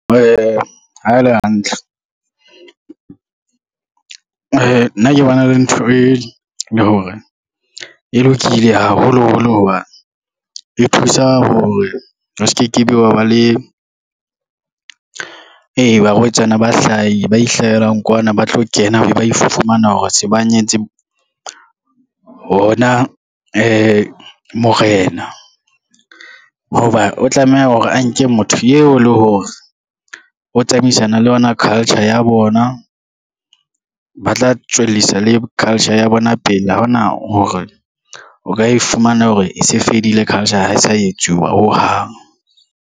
Ha e le hantle, nna ke bona le ntho e le hore e lokile haholo holo hobane, e thusa hore ho se ke be wa ba le barwetsana ba ihlahelang kwana, ba tlo kena ebe ba ifumana hore se ba nyetse hona morena, ho ba o tlameha hore a nke motho eo le hore o tsamaisana le yona culture ya bona, ba tla tswellisa le culture ya bona pele, ha ona hore o ka e fumana hore e se fedile culture ha e sa etsuwa ho hang.